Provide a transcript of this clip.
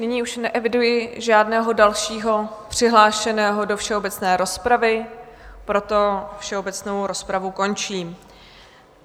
Nyní už neeviduji žádného dalšího přihlášeného do všeobecné rozpravy, proto všeobecnou rozpravu končím.